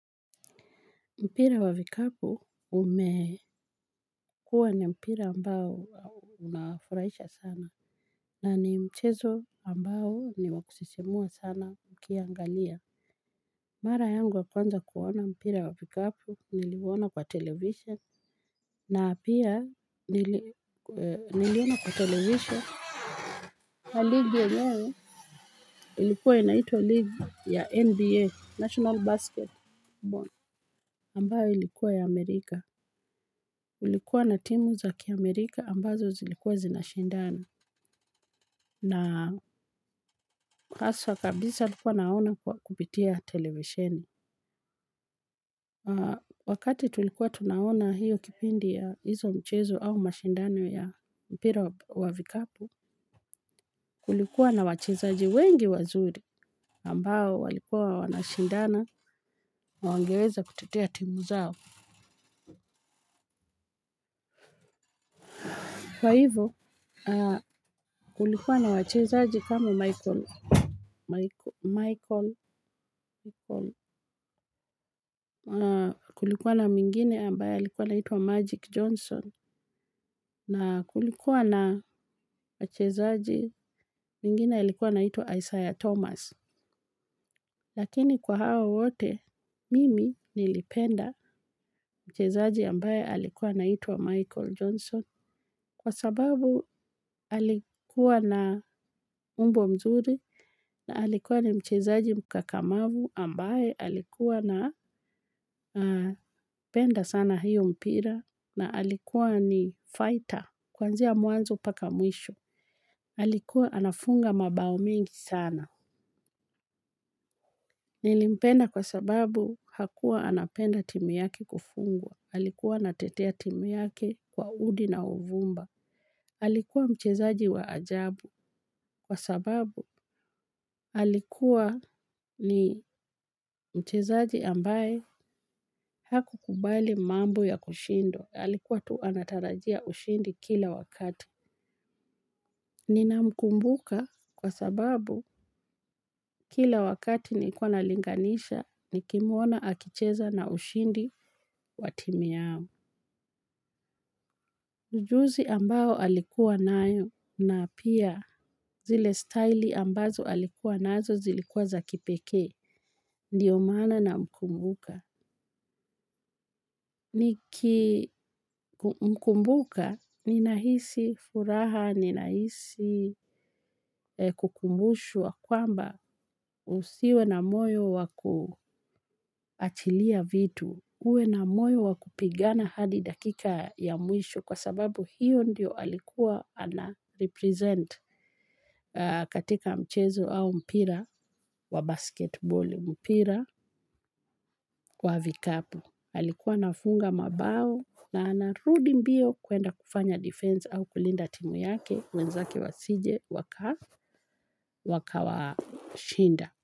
Mpira wa vikapu umekuwa ni mpira ambao unafurahisha sana. Na ni mchezo ambao ni wakusisimua sana mkiangalia. Mara yangu wa kwanza kuona mpira wa vikapu niliuona kwa television. Na pia niliona kwa television. Na league yenyewe ilikuwa inaitwa league ya NBA, National Basketball. Ambayo ilikuwa ya Amerika. Kulikuwa na timu za kiamerika ambazo zilikuwa zinashindana na haswa kabisa nilikuwa naona kupitia television. Wakati tulikuwa tunaona hiyo kipindi ya hizo mchezo au mashindano ya mpira wa vikapu, kulikuwa na wachezaji wengi wazuri ambao walikuwa wanashindana na wangeweza kutetea timu zao. Kwa hivyo, kulikuwa na wachezaji kama Michael, kulikuwa na mwingine ambaye alikuwa anaitwa Magic Johnson, na kulikuwa na wachezaji mwingine alikuwa anaitwa Isaiah Thomas. Lakini kwa hao wote mimi nilipenda mchezaji ambaye alikuwa anaitwa michael jonson kwa sababu alikuwa na umbo mzuri alikuwa mchezaji kakamavu ambaye alikuwa na penda sana hiyo mpira na alikuwa ni fighter kuanzia mwanzo mpaka mwisho. Alikuwa anafunga mabao mengi sana. Nilimpenda kwa sababu hakuwa anapenda timu yake kufungwa. Alikuwa anatetea timu yake kwa udi na uvumba. Alikuwa mchezaji wa ajabu. Kwa sababu alikuwa ni mchezaji ambaye haku kubali mambo ya kushindwa. Alikuwa tu anatarajia ushindi kila wakati. Ninamkumbuka kwa sababu kila wakati nilikuwa nalinganisha nikimwona akicheza na ushindi wa timu yao ujuzi ambao alikuwa nayo na pia zile staili ambazo alikuwa nazo zilikuwa za kipeke. Ndiyo maana namkumbuka. Nikimkumbuka, ninahisi furaha, ninahisi kukumbushwa kwamba usiwe na moyo wa kuachilia vitu, uwe na moyo wa kupigana hadi dakika ya mwisho kwa sababu hiyo ndiyo alikuwa ana represent katika mchezo au mpira wa basketbeli mpira kwa vikapu. Alikuwa anafunga mabao na anarudi mbio kuenda kufanya defense au kulinda timu yake mwenzaki wasije wakawa shinda.